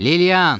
Liliyan!